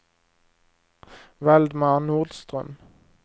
Valdemar Nordström